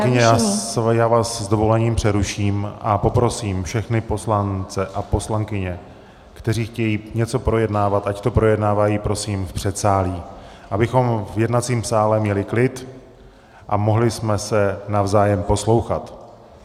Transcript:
Paní poslankyně, já vás s dovolením přeruším a poprosím všechny poslance a poslankyně, kteří chtějí něco projednávat, ať to projednávají prosím v předsálí, abychom v jednacím sále měli klid a mohli jsme se navzájem poslouchat.